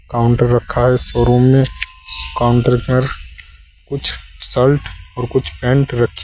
counter रखा है showroom में काउंटर पर कुछ शर्ट और कुछ पैंट रखे--